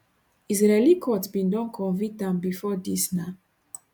israeli court bin don convict am bifor dis na